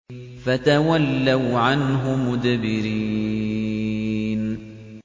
فَتَوَلَّوْا عَنْهُ مُدْبِرِينَ